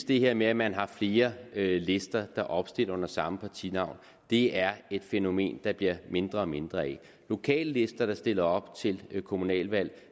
det her med at man har flere lister der opstiller under samme partinavn er et fænomen der bliver mindre og mindre af lokallister der stiller op til kommunalvalg